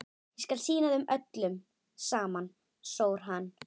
Ég skal sýna þeim öllum saman, sór hann.